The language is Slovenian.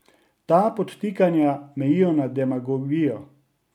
Ta podtikanja mejijo na demagogijo.